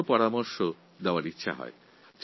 আমি একটি ছোটো প্রস্তাব রাখতে চাই